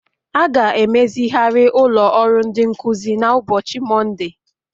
A ga-emezigharị ụlọ ọrụ ndị nkuzi na ụbọchị Mọnde